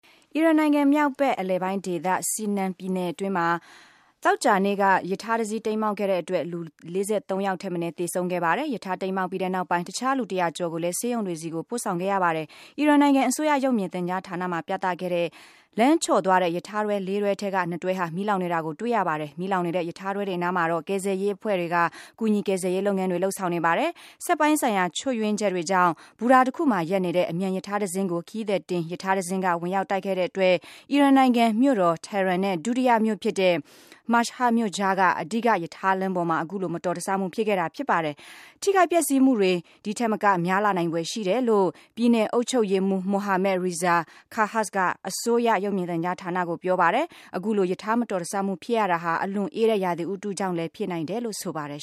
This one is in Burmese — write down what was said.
အီရန်နိုင်ငံ မြောက်ဘက် အလယ်ပိုင်းဒေသ Semnan ပြည်နယ် အတွင်းမှာ သောကြာနေ့က ရထားတစီး တိမ်းမှောက်ခဲ့တဲ့အတွက် လူ ၄၃ ယောက် ထပ်မနည်း သေဆုံးခဲ့ပါတယ်။ ရထားတိမ်းမှောက်ပြီးနောက်ပိုင်း တခြားလူ ၁၀၀ ကျော်ကိုလည်း ဆေးရုံတွေဆီကို ပို့ဆောင်ခဲ့ရပါတယ်။ အီရန်နိုင်ငံ အစိုးရရုပ်မြင်သံကြားဌာနမှာပြသခဲ့တဲ့ လမ်းချော်သွားတဲ့ ရထားတွဲ ၄ တွဲ ထဲက ၂ တွဲဟာ မီးလောင်နေတာကို တွေ့ရပါတယ်။ မီးလောင်နေတဲ့ ရထားတွဲတွေ အနားမှာတော့ ကယ်ဆယ်ရေးအဖွဲ့တွေက ကူညီကယ်ဆယ်ရေး လုပ်ငန်းတွေ လုပ်ဆောင်နေပါတယ်။ စက်ပိုင်းဆိုင်ရာချွတ်ယွင်းချက်တွေကြောင့် ဘူတာတခုမှာရပ်နေတဲ့ အမြန်ရထားတစင်းကို ခရီးသည်တင်ရထားတစင်းက ဝင်ရောက်တိုက်ခဲ့တဲ့အတွက် အီရန်နိုင်ငံမြို့တော် Tehran နဲ့ ဒုတိယ မြို့ဖြစ်တဲ့ Mashhad မြို့ကြားက အဓိက ရထားလမ်းပေါ်မှာ အခုလို မတော်တဆမှုဖြစ်ခဲ့တာဖြစ်ပါတယ်။ ထိခိုက်ပျက်စီးမှုတွေဒီထက်မကများလာနိုင်ဖွယ်ရှိတယ်လို့ ပြည်နယ်အုပ်ချုပ်ရေးမှူး Mohammad Reza Khabbaz က အစိုးရရုပ်မြင်သံကြားဌာနကို ပြောပါတယ်။ အခုလို ရထားမတော်တဆမှုဖြစ်ရတာဟာ အလွန်အေးတဲ့ ရာသီဥတုကြောင့်လည်း ဖြစ်နိုင်တယ်လို့ ဆိုပါတယ်